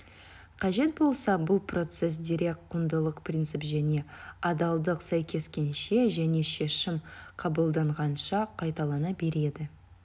қажет болса бұл процесс дерек құндылық принцип және адалдық сәйкескенше және шешім қабылданғанша қайталана береді